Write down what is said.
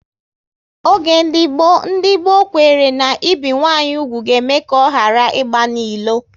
Oge ndị gboo, ndị gboo kwere na ibi nwanyị úgwù ga eme ka ọ ghara ịgba n'ilo